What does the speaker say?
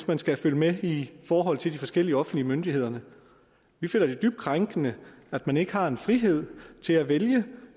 man skal følge med i forhold til de forskellige offentlige myndigheder vi føler det dybt krænkende at man ikke har frihed til at vælge